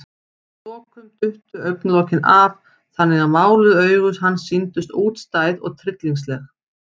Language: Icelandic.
Að lokum duttu augnalokin af, þannig að máluð augu hans sýndust útstæð og tryllingsleg.